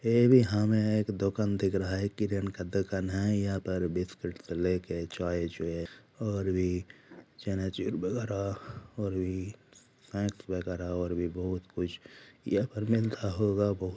यह भी हमें एक दुकान दिख रहा हैयह किरा न का दुकान है यहां पर बिस्कुट लेके चाय भी और भी चनाचुर वगेरा और भी स्नेक्स और भी बहुत कुछ यहा पर मिल रहा होगा ।